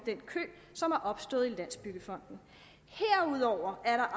af den kø som er opstået i landsbyggefonden herudover er